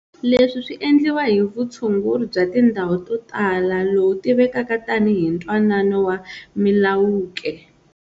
Leswi swi endliwa hi vutshunguri bya tindhawu to tala lowu tivekaka tanihi Ntwanano wa Milwaukee.